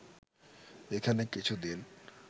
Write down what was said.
এখানে কিছু দিন